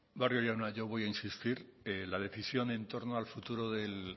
barrio jauna yo voy a insistir la decisión entorno al futuro del